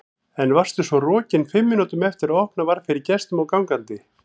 En svo varstu rokin fimm mínútum eftir að opnað var fyrir gestum og gangandi.